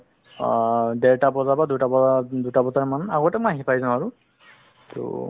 আ দেৰতা বজাৰ পা দুটা বজা, দুটা বজা মান আগতে মই আহি পাই যাও আৰু ট